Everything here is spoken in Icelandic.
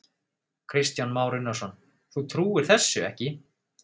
Kristján Már Unnarsson: Þú trúir þessu ekki?